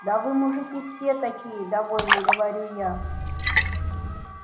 да вы мужики все такие довольно говорю я